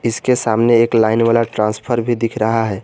इसके सामने एक लाइन वाला ट्रांसफर भी दिख रहा है।